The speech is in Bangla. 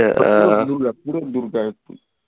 সব তো দুর্গা পুরো দুর্গা,